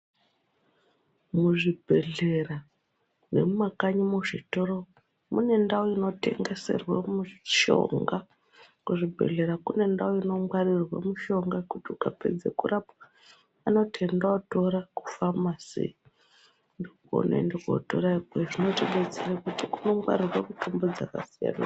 Muzvibhehlera nemumakanyi muzvitoro mune ndau inotengeserwe mishonga. Kuzvibhedhlera kune ndau inongwarirwe mushonga kuti ukapedze kurapwa anoti enda ootora kufamasi kunongwarirwa mitombo dzakasiyana.